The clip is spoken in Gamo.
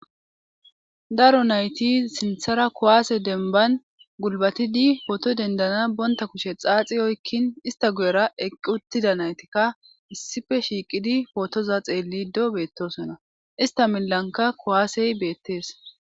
daro nayti sinthara kuwaase denban gulbatidi pooto dendana bonta kushe xaaxi oykkin ista guyera eqqi uttida naytikka issife shiiqidi pootoza xeellido beettosonna ista milanka kuwaasey beettees